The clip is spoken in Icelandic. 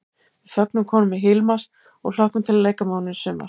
Við fögnum komu Hilmars og hlökkum til að leika með honum í sumar!